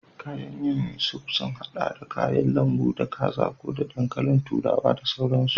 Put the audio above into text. Kayan yin soup sun haɗa da kayan lambu, da kaza ko da dankalin turawa da sauransu.